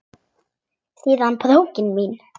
Síða brókin mín!